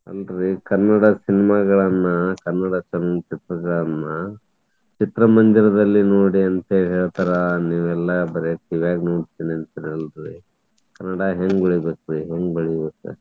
ಅಲ್ರಿ ಕನ್ನಡ cinema ಗಳನ್ನ, ಕನ್ನಡ ಚಲನಚಿತ್ರಗಳನ್ನ ಚಿತ್ರಮಂದಿರದಲ್ಲಿ ನೋಡಿ ಅಂತ ಹೇಳಿ ಹೇಳ್ತಾರಾ ನೀವೆಲ್ಲಾ ಬರೇ TV ವ್ಯಾಗ್ ನೋಡ್ತೇನಿ ಅಂತೀರಲ್ರಿ. ಕನ್ನಡ ಹೆಂಗ್ ಬೆಳಿಬೇಕ್ರಿ? ಹೆಂಗ್ ಬೆಳಿಬೇಕ?